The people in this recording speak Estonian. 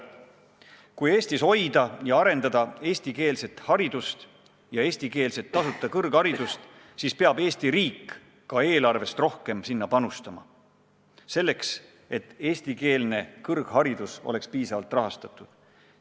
Kui hoida ja arendada eestikeelset haridust ja eestikeelset tasuta kõrgharidust, siis peab Eesti riik eelarvest sinna rohkem panustama, tagama, et eestikeelne kõrgharidus oleks piisavalt rahastatud.